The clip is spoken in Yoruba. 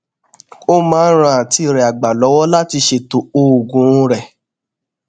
ó máa ń ran àǹtí rè àgbà lówó láti ṣètò oògùn rè